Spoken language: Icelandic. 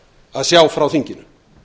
að sjá frá þinginu